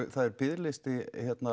það er biðlisti